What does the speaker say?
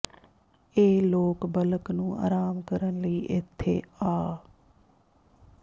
ਇਹ ਲੋਕ ਬਲਕ ਨੂੰ ਆਰਾਮ ਕਰਨ ਲਈ ਇੱਥੇ ਆ